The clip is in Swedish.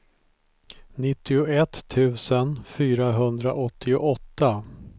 nittioett tusen fyrahundraåttioåtta